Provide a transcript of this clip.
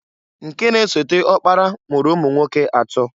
Nke na-esote ọkpara mụrụ ụmụnwoke atọọ.